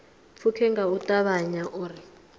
pfuke nga u ṱavhanya uri